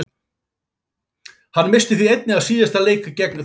Hann missti því einnig af síðasta leik gegn Þjóðverjum.